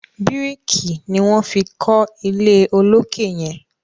biriki ní wón fí kò ilé olokè yen.